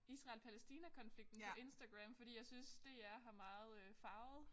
Israel Palestina konflikten på Instagram fordi jeg synes DR har meget øh farvet